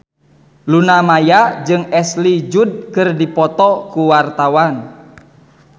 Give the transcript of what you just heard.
Luna Maya jeung Ashley Judd keur dipoto ku wartawan